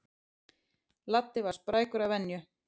Laddi var sprækur að venju.